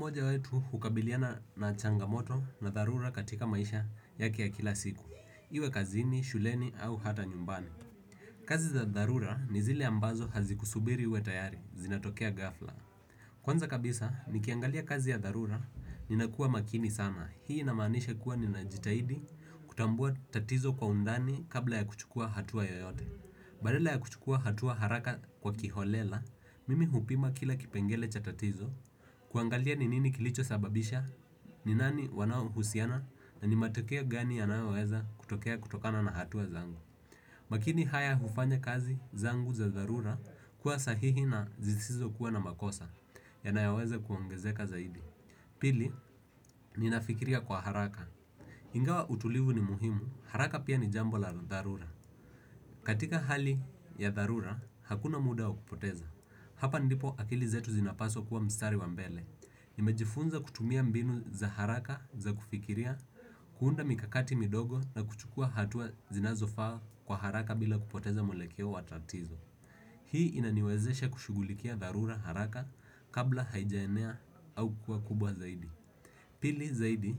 Mmoja wetu hukabiliana na changamoto za tharura katika maisha yake ya kila siku. Iwe kazini, shuleni au hata nyumbani. Kazi za tharura, ni zile ambazo hazikusubiri uwe tayari, zinatokea ghafla. Kwanza kabisa, nikiangalia kazi ya dharura, ninakuwa makini sana. Hii inamaanisha kuwa ninajitahidi, kutambua tatizo kwa undani kabla ya kuchukua hatua yoyote. Badala ya kuchukua hatua haraka kwa kiholela, mimi hupima kila kipengele cha tatizo. Kuangalia ni nini kilicho sababisha, ni nani wanao husiana na ni matokea gani yanayoweza kutokea kutokana na hatua zangu. Makini haya hufanya kazi zangu za dharura kuwa sahihi na zisizo kuwa na makosa yanayoweza kuongezeka zaidi. Pili, ninafikiria kwa haraka. Ingawa utulivu ni muhimu, haraka pia ni jambo la dharura. Katika hali ya dharura, hakuna muda wa kupoteza. Hapa ndipo akili zetu zinapaswa kuwa mstari wa mbele. Nimejifunza kutumia mbinu za haraka za kufikiria kuunda mikakati midogo na kuchukua hatua zinazofaa kwa haraka bila kupoteza mwelekeo wa tatizo. Hii inaniwezesha kushughulikia dharura haraka, kabla haijaenea au kukuwa kubwa zaidi. Pili zaidi,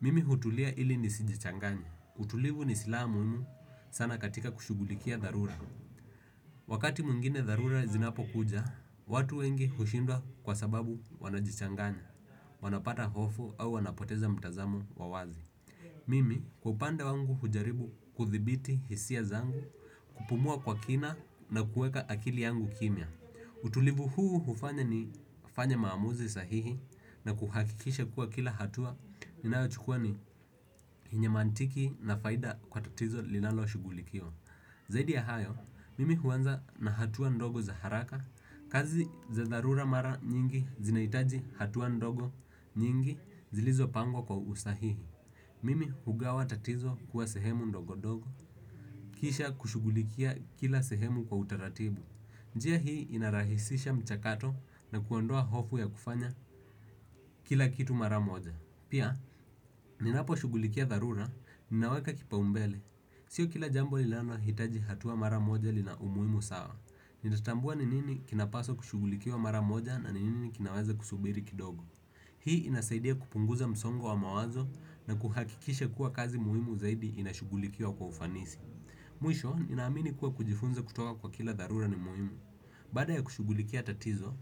mimi hutulia ili nisijichanganye. Utulivu ni silaha muhimu sana katika kushughulikia dharura. Wakati mwingine dharura zinapokuja, watu wengi hushindwa kwa sababu wanajichanganya. Wanapata hofu au wanapoteza mtazamo wa wazi. Mimi kwa upande wangu hujaribu kuthibiti hisia zangu. Kupumua kwa kina na kuweka akili yangu kimya. Utulivu huu hufanya nifanye maamuzi sahihi na kuhakikisha kuwa kila hatua ninayochukua ni yenye mantiki na faida kwa tatizo linaloshughulikiwa. Zaidi ya hayo, mimi huanza na hatua ndogo za haraka. Kazi za dharura mara nyingi zinahitaji hatua ndogo nyingi zilizopangwa kwa usahihi. Mimi hugawa tatizo kuwa sehemu ndogo ndogo. Kisha kushughulikia kila sehemu kwa utaratibu. Njia hii inarahisisha mchakato na kuondoa hofu ya kufanya kila kitu mara moja. Pia, ninaposhughulikia dharura, ninaweka kipaumbele. Sio kila jambo lilanalohitaji hatua mara moja lina umuhimu sawa. Ninatambua ni nini kinapaswa kushughulikiwa mara moja na ni nini kinaweza kusubiri kidogo. Hii inasaidia kupunguza msongo wa mawazo na kuhakikisha kuwa kazi muhimu zaidi inashughulikiwa kwa ufanisi. Mwisho, ninaamini kuwa kujifunza kutoka kwa kila dharura ni muhimu. Baada ya kushughulikia tatizo,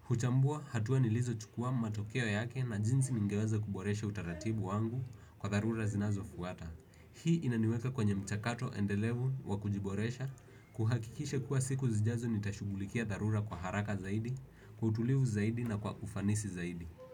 huchambua hatua nilizochukua, matokeo yake na jinsi ningeweza kuboresha utaratibu wangu kwa dharura zinazofuata. Hii inaniweka kwenye mchakato endelevu wa kujiboresha kuhakikishe kuwa siku zijazo nitashugulikia darura kwa haraka zaidi, kutulivu zaidi na kwa kufanisi zaidi.